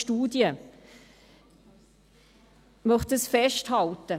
Dies möchte ich festhalten.